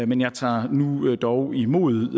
men jeg tager nu dog imod